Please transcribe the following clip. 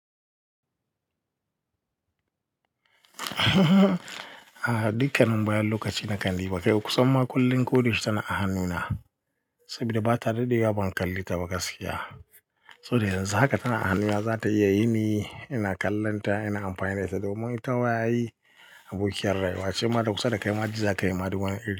A'a dukkanin bayan lokaci nakan diba kai kusanma koda yaushe tana hannuna sabida daɗewa ban kalle taba gaskiya saboda yanzu haka tana a hannuna za ta iya yini ina kallon ta, ina amfani da ita domin itama ai abokiyar rayuwa ce Shin bata kusa dakai ma jii za kayi ma duk wani iri.